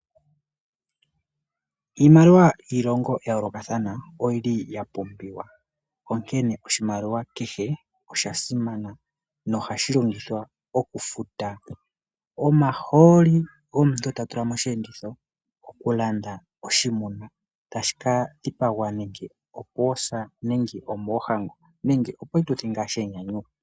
Iimaliwa yiilongo ya yoolokathana oyiliya pumbiwa onkene oshimaliwa kehe oshasimana nohashi longithwa okufuta omahooli omuntu